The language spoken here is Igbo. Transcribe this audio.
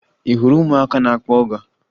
Ị hụrụ ụmụaka na-akpọ ọga?